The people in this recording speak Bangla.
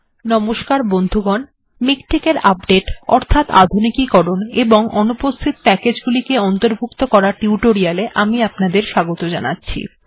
নমস্কার বন্ধুগণ মিকটেক্ এর আপডেট্ অর্থাৎ আধুনিকীকরণ এবং অনুপস্হিত প্যাকেজ্ গুলিকে অন্তর্ভুক্ত করার টিউটোরিয়াল্ এ আমি আপনাদের স্বাগত জানাচ্ছি